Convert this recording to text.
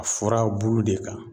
A furabulu de kan